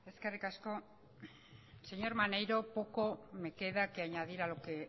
eskerrik asko señor maneiro poco me queda que añadir a lo que